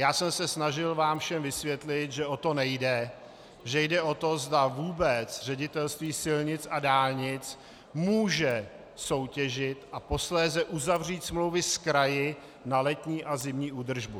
Já jsem se snažil vám všem vysvětlit, že o to nejde, že jde o to, zda vůbec Ředitelství silnic a dálnic může soutěžit a posléze uzavřít smlouvy s kraji na letní a zimní údržbu.